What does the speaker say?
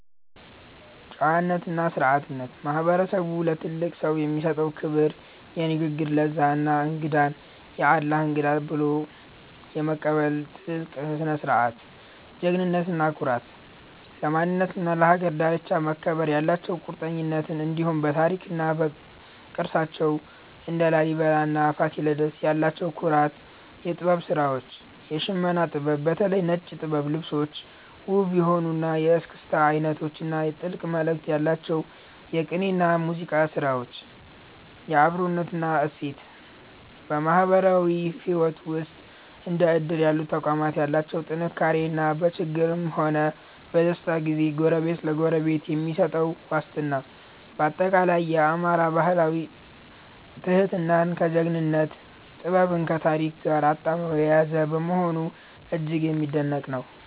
ጨዋነትና ስነ-ስርዓት፦ ማህበረሰቡ ለትልቅ ሰው የሚሰጠው ክብር፣ የንግግር ለዛ እና እንግዳን "የአላህ እንግዳ" ብሎ የመቀበል ጥልቅ ስነ-ምግባር። ጀግንነትና ኩራት፦ ለማንነትና ለሀገር ዳርቻ መከበር ያላቸው ቁርጠኝነት፣ እንዲሁም በታሪክና በቅርሳቸው (እንደ ላሊበላና ፋሲለደስ) ያላቸው ኩራት። የጥበብ ስራዎች፦ የሽመና ጥበብ (በተለይ ነጭ ጥበብ ልብሶች)፣ ውብ የሆኑት የእስክስታ አይነቶች እና ጥልቅ መልእክት ያላቸው የቅኔና የሙዚቃ ስራዎች። የአብሮነት እሴት፦ በማህበራዊ ህይወት ውስጥ እንደ እድር ያሉ ተቋማት ያላቸው ጥንካሬ እና በችግርም ሆነ በደስታ ጊዜ ጎረቤት ለጎረቤት የሚሰጠው ዋስትና። ባጠቃላይ፣ የአማራ ባህል ትህትናን ከጀግንነት፣ ጥበብን ከታሪክ ጋር አጣምሮ የያዘ በመሆኑ እጅግ የሚደነቅ ነው።